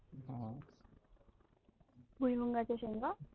भुईमुन्गाच्या शेंगा